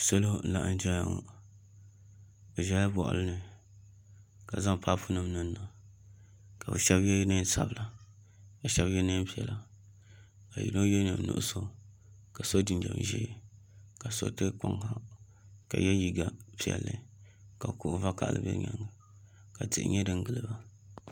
Salo m laɣam ʒɛya ŋo bi ʒɛla boɣali ni ka zaŋ paip nim niŋniŋ ka bi shab yɛ neen sabila ka bi shab yɛ neen piɛla ka yino yɛ liiga nuɣso ka so jinjɛm ʒiɛ ka so tam kpaŋ ha ka yɛ liiga piɛlli ka kuɣu vakaɣali bɛ bi nyaanga ka tihi nyɛ din giliba